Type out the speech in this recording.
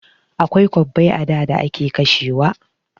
Akwai kwabbai a da da ake kashewa.